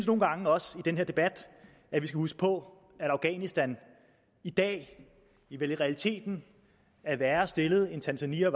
nogle gange også i den her debat skal huske på at afghanistan i dag vel i realiteten er værre stillet end tanzania